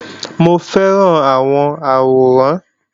Mò ń fẹ́ràn àwọn àwòrán